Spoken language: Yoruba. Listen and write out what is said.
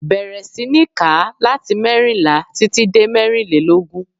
Bẹ̀rẹ̀ sí ní kà á láti mẹ́rìnlá títí dé mẹ́rìlélógún.